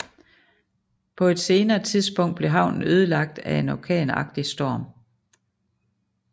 På et senere tidspunkt blev havnen ødelagt af en orkanagtig storm